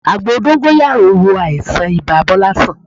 Àgbo dóngóyárò wo àìsàn ibà Bọ́lá sàn